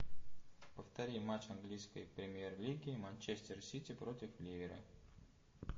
повтори матч английской премьер лиги манчестер сити против ливера